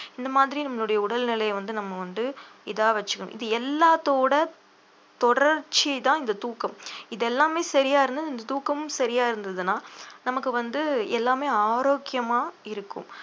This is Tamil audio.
இந்த மாதிரி நம்மளுடைய உடல்நிலையை வந்து நம்ம வந்து இதா வச்சுக்கணும் இது எல்லாத்தோட தொடர்ச்சிதான் இந்த தூக்கம் இது எல்லாமே சரியா இருந்தா இந்த தூக்கமும் சரியா இருந்ததுன்னா நமக்கு வந்து எல்லாமே ஆரோக்கியமா இருக்கும்